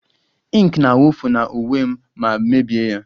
Ink na-awụfu na uwe m ma mebie ya